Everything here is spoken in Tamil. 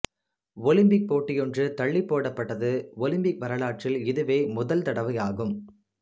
ஒலிம்பிக் போட்டியொன்று தள்ளிப்போடப்பட்டது ஒலிம்பிக் வரலாற்றில் இதுவே முதல் தடவையாகும்